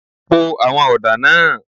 Po àwọn ọ̀dà náà.